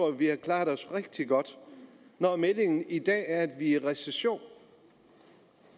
at vi har klaret os rigtig godt når meldingen i dag er at i recession